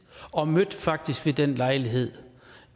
og mødte faktisk ved den lejlighed